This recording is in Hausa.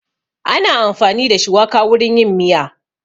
Ana amfani da shuwaka wurin yin miya